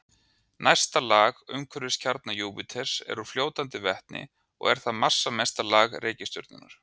Næsta lag umhverfis kjarna Júpíters er úr fljótandi vetni og er það massamesta lag reikistjörnunnar.